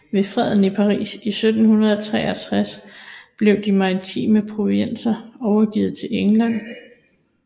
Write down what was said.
Ved Freden i Paris i 1763 blev de maritime provinser overgivet til England